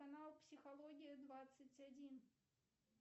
канал психология двадцать один